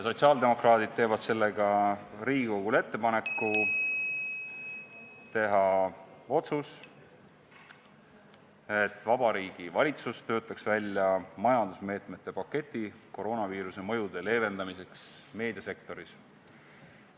Sotsiaaldemokraadid teevad sellega Riigikogule ettepaneku teha otsus, et Vabariigi Valitsus töötaks välja majandusmeetmete paketi koroonaviiruse mõjude leevendamiseks meediasektoris.